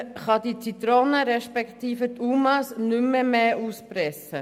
Man kann die Zitrone respektive die UMA nicht mehr zusätzlich auspressen.